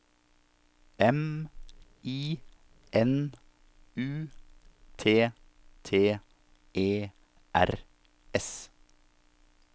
M I N U T T E R S